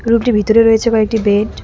রুমটির ভিতরে রয়েছে কয়েকটি বেড ।